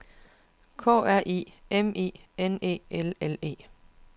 K R I M I N E L L E